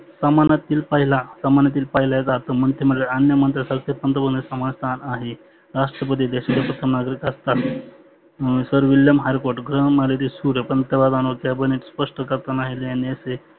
प्रमानातील पहिला प्रमाणातील पहिल्या मंत्रीमंडळा अन्य मंत्र्यांना समान स्थान आहे. राष्ट्रपती देशाचे प्रथम नागरीक असतात. sir willim स्पष्ट करताना यांनी असे